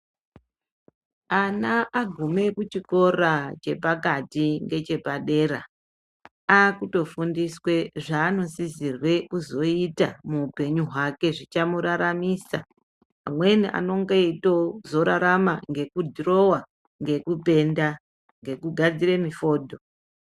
Ana agume kuchikora chepekati nechepadera akutofundiswe zvanosisirwe kuzoita muupenyu hwake zvichamuraramisa. Amweni anenge eitozorarama ngekudhirowa nekupenda nekugadzira mifodho.